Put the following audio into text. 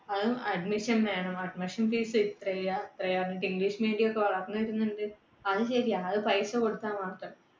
അതും admission വേണം. admission fees ഇത്രയാ അത്രയാന്നൊക്കെ. english medium ഒക്കെ വളർന്നു വരുന്നുണ്ട്, അത് ശരിയാ അത് പൈസ കൊടുത്താൽ മാത്രം